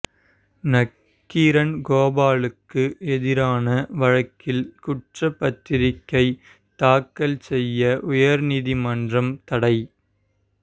நக்கீரன் கோபாலுக்கு எதிரான வழக்கில் குற்றப்பத்திரிகை தாக்கல் செய்ய உயர்நீதிமன்றம் தடை